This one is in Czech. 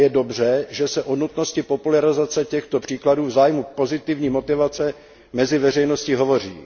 A je dobře, že se o nutnosti popularizace těchto příkladů v zájmu pozitivní motivace mezi veřejností hovoří.